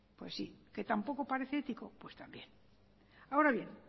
pues sí que tampoco parece ético pues también ahora bien